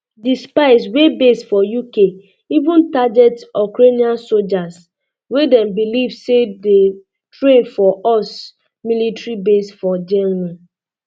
di spies wey base for uk even target ukrainian sojas wey dem um believe say dey um train for us military base for germany